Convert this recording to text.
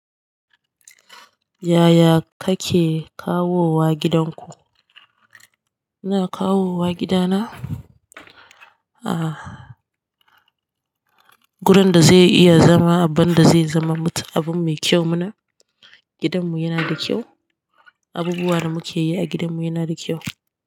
Yaya kake kawowa gidanku? Ina kawowa gidana? Ah, gurin da zai iya zama, abinda zai zama abun mai kyau mana. Gidanmu yana da kyau. Abubuwan da muke yi a gidanmu yana da kyau.